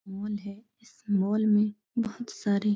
Mall है। इस mall में बोहोत सारे --